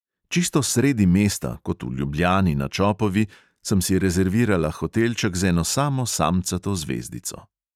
Čisto sredi mesta, kot v ljubljani na čopovi, sem si rezervirala hotelček z eno samo samcato zvezdico.